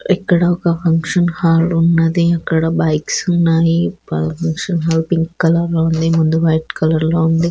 ఇక్కడ ఒక function hall ఉన్నది. ఇక్కడ బైక్స్ ఉన్నవి. ఫంక్షన్ హాల్ పింక్ కలర్ లో ఉంది. ముందు వైట్ కలర్ లో ఉంది.